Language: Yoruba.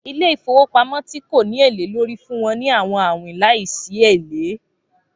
Ilé-ìfowópamọ́ ti ko ni ele lórí fun wọn ni awọn awin laisi ele